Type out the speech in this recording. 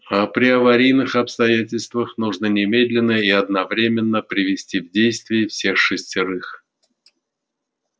а при аварийных обстоятельствах нужно немедленно и одновременно привести в действие всех шестерых